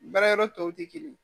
Baara yɔrɔ tɔw tɛ kelen ye